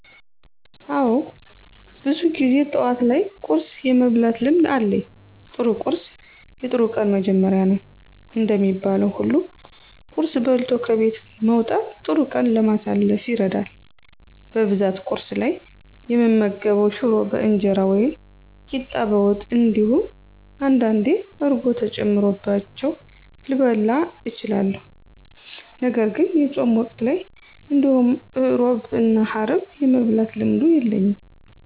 አወ ብዙ ጊዜ ጠዋት ላይ ቁርስ የመብላት ልምድ አለኝ። ጥሩ ቁርስ የጥሩ ቀን መጀመሪያ ነው እንደሚባለው ሁሉ ቁርስ በልቶ ከቤት መውጣት ጥሩ ቀን ለማሳለፍ ይረዳል። በብዛት ቁርስ ላይ እምመገበው ሽሮ በእንጀራ ወይም ቂጣ በወጥ እንዲሁም አንዳንዴ እርጎ ተጨምሮባቸው ልበላ እችላለሁ። ነገርግን የፆም ወቅት ላይ እንዲሁም ሕሮብ እና ሀርብ የመብላት ልምዱ የለኝም።